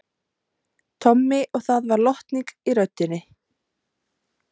Tommi og það var lotning í röddinni.